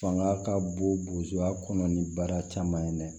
Fanga ka bon buruzo kɔnɔ ni baara caman ye dɛ